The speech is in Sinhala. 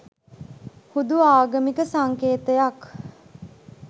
හුදු ආගමික සංකේතයක්